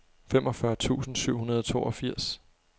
femogfyrre tusind syv hundrede og toogfirs